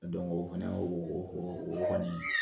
o fana y'o o kɔni